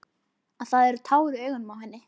Að það eru tár í augunum á henni.